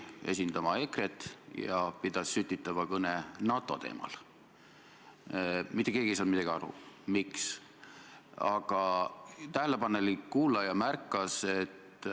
Ma küsisin väga konkreetselt, mida te kavatsete teha selleks, et teie valitsuse liige Mart Helme ei jätkaks prokuratuuri ja Eesti õigusriigi ründamist, ja ma ei saanud vastust.